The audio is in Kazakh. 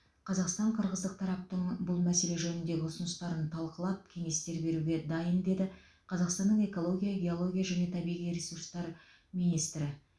қазақстан қырғыздық тараптың бұл мәселе жөніндегі ұсыныстарын талқылап кеңестер беруге дайын деді қазақстанның экология геология және табиғи ресурстар министрі